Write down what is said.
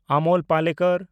Amol Palekar